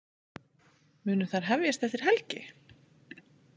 Munu þær hefjast eftir helgi